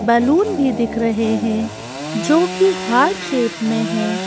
Balloon भी दिख रहे हैं जो कि हार्ट शेप में है।